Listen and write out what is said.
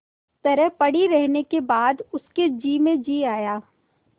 तरह पड़ी रहने के बाद उसके जी में जी आया